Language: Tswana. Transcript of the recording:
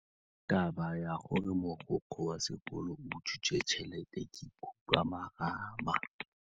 Taba ya gore mogokgo wa sekolo o utswitse tšhelete ke khupamarama.